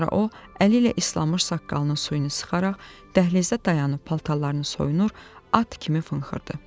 Sonra o əli ilə islanmış saqqalının suyunu sıxaraq dəhlizdə dayanıb paltarlarını soyunur, at kimi fınxırdı.